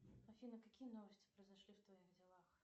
афина какие новости произошли в твоих делах